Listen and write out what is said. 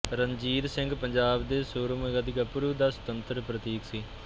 ਰਣਜੀਤ ਸਿੰਘ ਪੰਜਾਬ ਦੇ ਸੂਰਮਗਤੀ ਗੱਭਰੂ ਦਾ ਸਤੁੰਤਰ ਪ੍ਰਤੀਕ ਸੀ